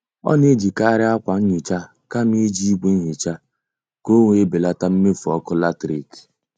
Ọ na-ejikari akwa nhicha kama iji ìgwè nhicha ka ọ wee belata mmefu ọkụ latrik